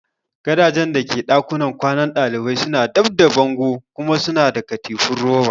Gadajen da ke dakunan kwanan dalibai suna dab da bango kuma suna da katifu roba.